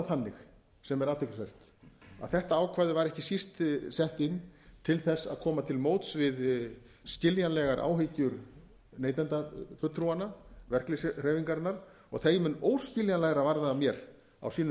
þannig sem er athyglisvert að þetta ákvæði var ekki síst sett inn til þess að koma til móts við skiljanlegar áhyggjur neytendafulltrúanna verkalýðshreyfingarinnar og þeim mun óskiljanlegra var það mér á sínum